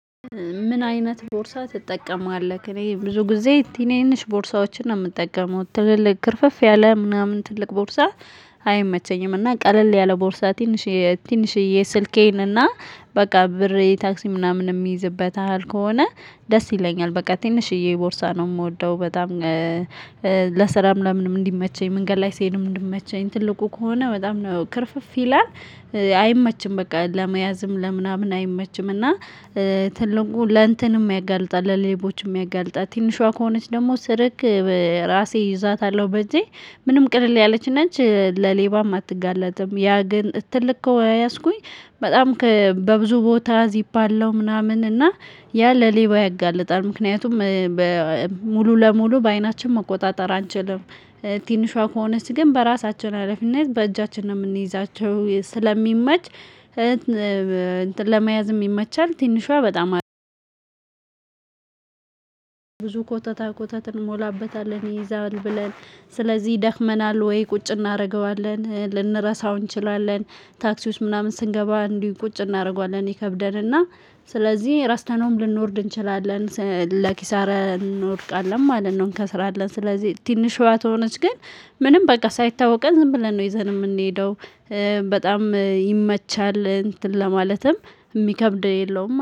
ምን አይነት ቦርሳ ትጠቀማለክ? እኔ ብዙ ጊዜ ትንንሽ ቦርሳዎችን ነው የምጠቀመው ትልልቅ ክርፍፍ ያለ ምናምን ትልቅ ቦርሳ አይመቸኝም እና ቀለል ያለ ቦርሳ ትንሽየ ትንሽየ ስልኬን እና በቃ ብር ታክሲ ምናምን የሚይዝበት ያህል ከሆነ ደስ ይለኛል በቃ ትንሽዬ ቦርሳ ነው ምወደው በጣም። ለስራም ለምንም እንዲመቸኝ መንገድ ላይ ስሄድም እንዲመቸኝ ትልቁ ከሆነ በጣም ነው ክርፍፍ ይላል። አይመችም በቃ ለመያዝም ለምናምን አይመችም። እና ትልቁ ለእንትንም ያጋልጣል ለሌቦችም ያጋልጣል። ትንሿ ከሆነች ደግሞ ስርክ ራሴ ይዛታለሁ በእጄ ምንም ቅድል ያለች ነች ለሌባም አትጋለጥም። ያ ግን ትልቅ ከወያዝኩኝ በጣም በብዙ ቦታ ዚፕ አለው ምናምን እና ያ ለሌባ ያጋልጣል። ምክንያቱም ሙሉ ለሙሉ በአይናችን መቆጣጠር አንችልም። ትንሿ ከሆነች ግን በራሳችን ሀላፊነት በእጃችን ነው የምንይዛቸው ስለሚመች። ለመያዝም ይመቻል ትንሿ በጣም። ብዙ ኮተታ ኮተት እንሞላበታለን ይይዛል ብለን ስለዚህ ይደክመናል ወይ ቁጭ እናደርገዋለን ልንረሳው እንችላለን። ታክሲዎች ምናምን ስንገባ እንዲህ ቁጭ እናደርገዋለን ይከብደንና ስለዚህ ረስተነውም ልንወርድ እንችላለን ለኪሳራ እንወድቃለን ማለት ነው እንከስራለን። ስለዚህ ትንሽሿ ከሆነቺ ግን ምንም በቃ ሳይታወቀ ዝም ብለን ነው ይዘን የምንሄደው። በጣም ይመቻል እንትን ለማለትም ሚከብድ የለውም